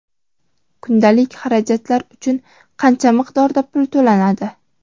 Kundalik xarajatlar uchun qancha miqdorda pul to‘lanadi?.